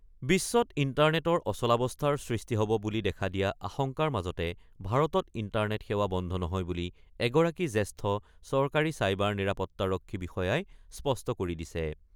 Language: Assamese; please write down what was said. বিশ্বত ইণ্টাৰনেটৰ অচলাৱস্থাৰ সৃষ্টি হ'ব বুলি দেখা দিয়া আশংকাৰ মাজতে ভাৰতত ইণ্টাৰনেট সেৱা বন্ধ নহয় বুলি এগৰাকী জ্যেষ্ঠ চৰকাৰী চাইবাৰ নিৰাপত্তাৰক্ষী বিষয়াই স্পষ্ট কৰি দিছে।